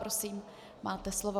Prosím, máte slovo.